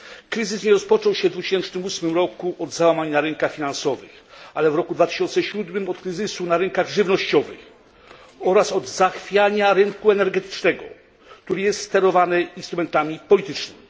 Kryzys nie rozpoczął się w 2008 roku od załamania na rynkach finansowych, ale w 2007 roku od kryzysu na rynkach żywnościowych oraz od zachwiania rynku energetycznego, który jest sterowany instrumentami politycznymi.